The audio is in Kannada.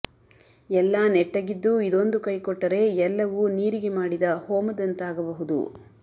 ಎಲ್ಲಾ ನೆಟ್ಟಗಿದ್ದೂ ಇದೊಂದು ಕೈ ಕೊಟ್ಟರೆ ಎಲ್ಲವೂ ನೀರಿಗೆ ಮಾಡಿದ ಹೋಮದಂತಾಗಬಹುದು